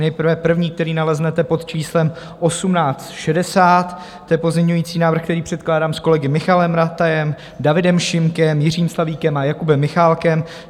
Nejprve první, který naleznete pod číslem 1860, to je pozměňovací návrh, který předkládám s kolegy Michaelem Ratajem, Davidem Šimkem, Jiřím Slavíkem a Jakubem Michálkem.